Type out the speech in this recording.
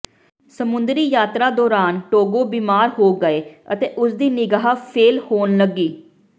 ਸਮੁੰਦਰੀ ਯਾਤਰਾ ਦੌਰਾਨ ਟੋਗੋ ਬਿਮਾਰ ਹੋ ਗਏ ਅਤੇ ਉਸਦੀ ਨਿਗਾਹ ਫੇਲ੍ਹ ਹੋਣ ਲੱਗੀ